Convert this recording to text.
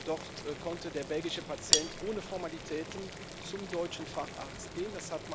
Dort konnte der belgische Patient ohne Formalitäten zum deutschen Facharzt gehen.